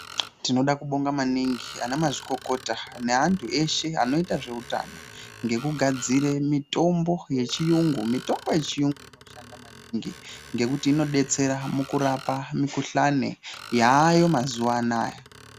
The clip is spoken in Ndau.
Tinoda ekubonga maningi ana mazvikokota, neantu eshe anoita zveutano, ngekugadzire mitombo yechiyungu. Mitombo yechiyungu inoshanda maningi ngekuti inodetsera mukurapa mikhuhlane, yaayo mazuwa anaya.